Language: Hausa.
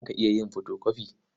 Za ka iya yin fotokofi?